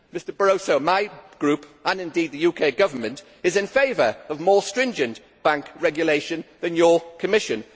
Mr Barroso, my group, and indeed the UK Government, is in favour of more stringent bank regulation than your Commission.